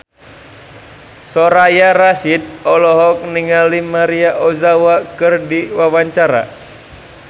Soraya Rasyid olohok ningali Maria Ozawa keur diwawancara